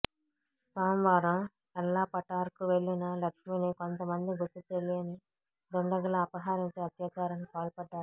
సోమవారం ఎల్లాపటార్కు వెళ్లిన లక్ష్మిని కొంతమంది గుర్తుతెలియన దుండగులు అపహరించి అత్యాచారానికి పాల్పడ్డారు